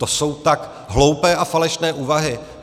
To jsou tak hloupé a falešné úvahy.